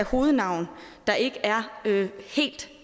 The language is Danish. hovednavn der ikke er helt